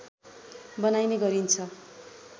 बनाइने गरिन्छ